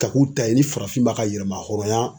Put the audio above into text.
Ka k'u ta ye ni farafin ma ka yɛlɛma hɔrɔnya